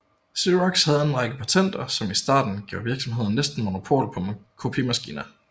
Xerox havde en række patenter som i starten gav virksomheden næsten monopol på kopimaskiner